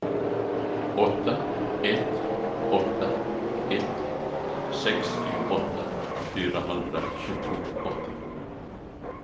åtta ett åtta ett sextioåtta fyrahundratjugoåtta